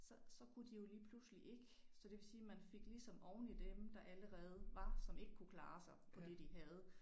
Så så kunne de jo lige pludselig ikke så det vil sige man fik ligesom oveni dem der allerede var som ikke kunne klare sig for det de havde